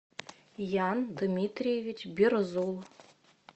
ян дмитриевич берзул